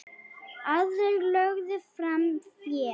Aðrir lögðu fram fé.